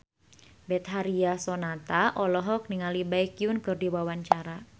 Betharia Sonata olohok ningali Baekhyun keur diwawancara